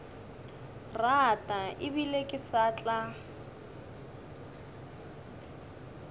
rata ebile ke sa tla